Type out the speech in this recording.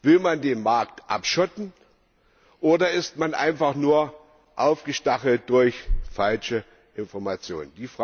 Will man den Markt abschotten, oder ist man einfach nur aufgestachelt durch falsche Information?